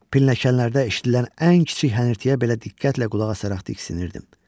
Pilləkənlərdə eşitdilən ən kiçik hənirtiyə belə diqqətlə qulaq asaraq diksinirdim.